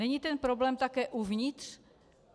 Není ten problém také uvnitř?